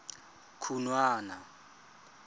khunwana